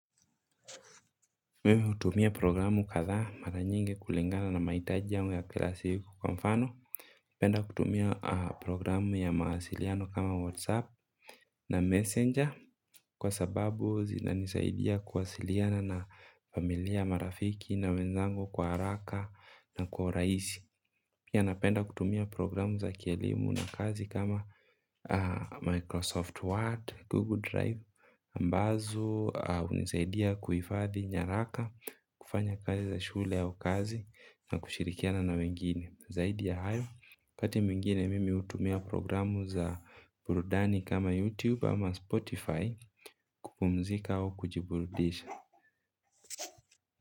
Mimi hutumia programu kadhaa mara nyingi kulingana na mahitaji yangu ya kila siku kwa mfano penda kutumia programu ya mawasiliano kama WhatsApp na Messenger. Kwa sababu zinanisaidia kuwasiliana na familia marafiki na wenzangu kwa haraka na kwa uraisi. Pia napenda kutumia programu za kielimu na kazi kama Microsoft Word, Google Drive Ambazo hunisaidia kuhifadhi nyaraka. Kufanya kazi za shule au kazi na kushirikiana na wengine. Zaidi ya hayo wakati mwingine mimi hutumia programu za burudani kama YouTube ama Spotify. Kupumzika au kujiburudisha.